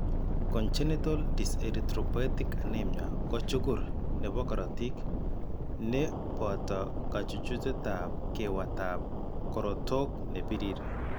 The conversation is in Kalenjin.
Congenital dyserthropoietic anemia ko chukur nebo korotik ne booto kachuchetab kewatab korotok ne birir.